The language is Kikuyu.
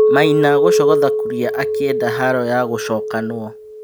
Maina gũcogotha Kuria akĩ enda haro ya gũcokanwo.